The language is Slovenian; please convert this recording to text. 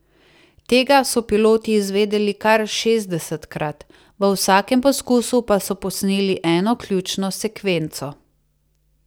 Tega so piloti izvedeli kar šestdesetkrat, v vsakem poskusu pa so posneli eno ključno sekvenco.